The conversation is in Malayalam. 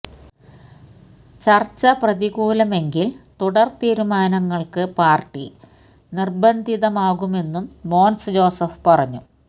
ചര്ച്ച് പ്രതികൂലമെങ്കില് തുടര് തീരുമാനങ്ങള്ക്ക് പാര്ട്ടി നിര്ബന്ധിതമാകുമെന്നും മോന്സ് ജോസഫ് പറഞ്ഞു